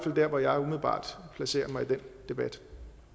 der hvor jeg umiddelbart placerer mig i den debat